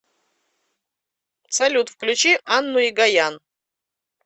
салют включи анну егоян